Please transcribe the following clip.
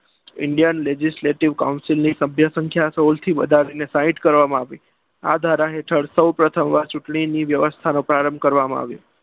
indian legislative council સભ્ય સંખ્યા સોળ થી વધારીને સાહીઠ કરવામાં આવી આ ધારા હેઠળ સૌપ્રથમ આ ચૂંટણી ની વ્યવસ્થા નો પ્રારંભ કરવામાં આવ્યો.